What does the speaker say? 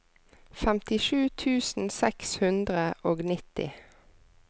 femtisju tusen seks hundre og nitti